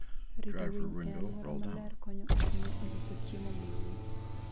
Rito winy e alwora maler konyo ahinya e loso chiemo mang'eny.